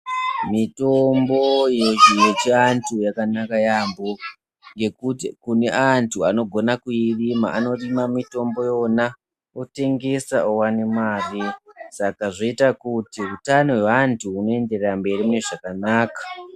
Mitombo yechiantu yakanaka yaamho ngekuti kune antu anogona kuyirima anorima mitombo yona otengesa oone mari saka zvoita kuti utano hwevantu huendere mberi zvakanaka.